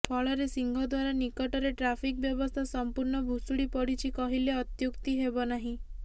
ଫଳରେ ସିଂହଦ୍ବାର ନିକଟରେ ଟ୍ରାଫିକ ବ୍ୟବସ୍ଥା ସମ୍ପୂର୍ଣ ଭୁଷୁଡି ପଡିଛି କହିଲେ ଅତ୍ୟୁକ୍ତି ହେବ ନାହିଁ